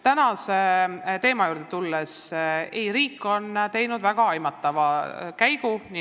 Tänase teema juurde tulles võib öelda, et ei, riik on teinud väga aimatava käigu.